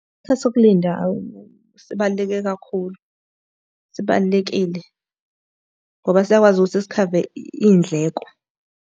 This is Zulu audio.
Isikhathi sokulinda sibaluleke kakhulu. Sibalulekile ngoba siyakwazi ukuthi sikhave iy'ndleko.